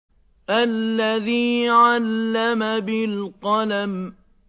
الَّذِي عَلَّمَ بِالْقَلَمِ